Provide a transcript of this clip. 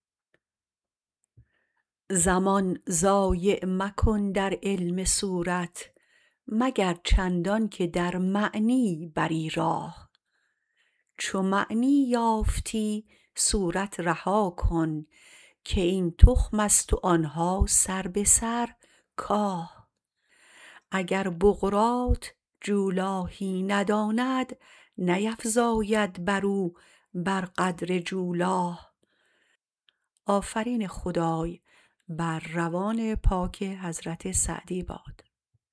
زمان ضایع مکن در علم صورت مگر چندان که در معنی بری راه چو معنی یافتی صورت رها کن که این تخمست و آنها سر به سر کاه اگر بقراط جولاهی نداند نیفزاید برو بر قدر جولاه